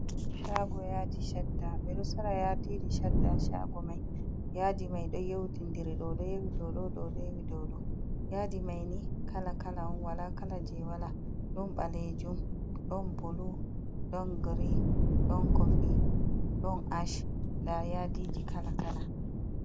Shaago yaadi shadda. Ɓe ɗo sora yaadiji shadda ha shago mai yaadi mai ɗon yaundindiri, ɗo ɗo yowi dou ɗo, ɗo ɗo yowi dou ɗo. Yaadi mai ni kala-kala on, wala kala jei wala. Ɗon ɓaleejum, ɗon bulu, ɗon grey, ɗon kofi, ɗon ash. Nda yaadiji kala-kala.